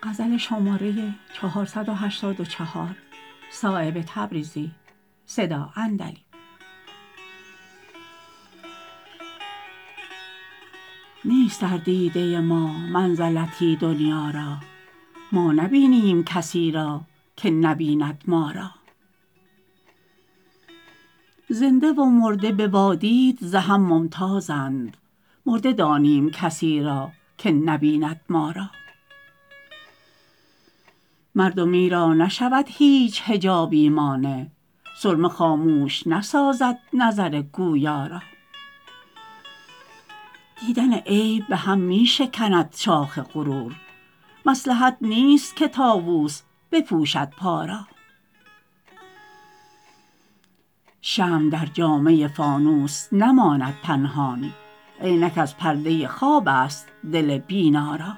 نیست در دیده ما منزلتی دنیا را ما نبینیم کسی را که نبیند ما را زنده و مرده به وادید ز هم ممتازند مرده دانیم کسی را که نبیند ما را مردمی را نشود هیچ حجابی مانع سرمه خاموش نسازد نظر گویا را دیدن عیب به هم می شکند شاخ غرور مصلحت نیست که طاوس بپوشد پا را شمع در جامه فانوس نماند پنهان عینک از پرده خواب است دل بینا را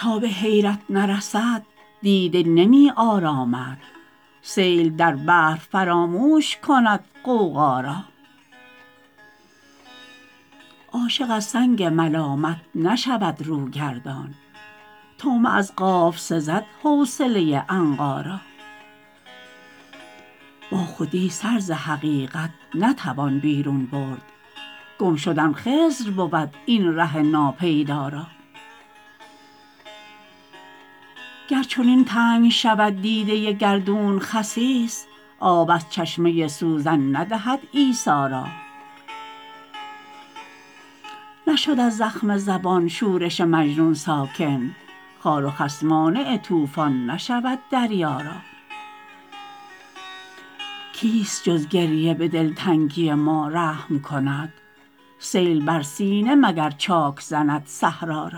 تا به حیرت نرسد دیده نمی آرامد سیل در بحر فراموش کند غوغا را عاشق از سنگ ملامت نشود رو گردان طعمه از قاف سزد حوصله عنقا را با خودی سر ز حقیقت نتوان بیرون برد گم شدن خضر بود این ره ناپیدا را گر چنین تنگ شود دیده گردون خسیس آب از چشمه سوزن ندهد عیسی را نشد از زخم زبان شورش مجنون ساکن خار و خس مانع طوفان نشود دریا را کیست جز گریه به دلتنگی ما رحم کند سیل بر سینه مگر چاک زند صحرا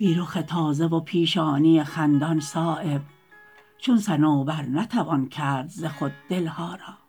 را بی رخ تازه و پیشانی خندان صایب چون صنوبر نتوان کرد ز خود دلها را